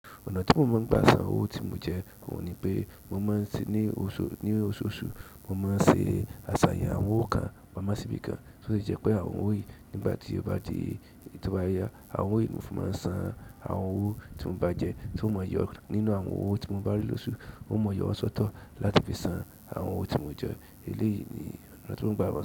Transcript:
Ọ̀nà tí mo máa ń gba san àwọn owó tí mo jẹ, ohun ni wípé mo máa ń ṣe. Ní ososu mo máa ń ṣe asaye àwọn owó kan pamọ́ sí ibi kan tó sì jẹ́ pé àwọn owó yìí nígbà tí o bá di toba ya àwọn owó yìí, ni mo fi máa ń san àwọn owó tí mo bá jẹ, tí n o máa yọ nínú àwọn owó tí mo bá rí lósù, ó máa yọ wọ́n ṣọ́tọ̀ láti fi san àwọn owó tí mo jẹ, èleyí ni ọ̀nà tí mo ń gba àwọn owó.